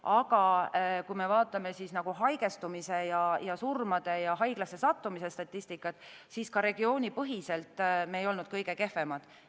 Aga kui me vaatame haigestumise, surmade ja haiglasse sattumise statistikat, siis ka regioonipõhiselt me ei olnud kõige kehvemad.